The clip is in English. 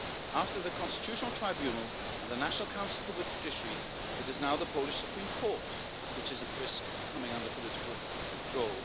do so. After the Constitutional Tribunal and the National Council for the Judiciary, it is now the Polish Supreme Court which is at risk of coming under political control.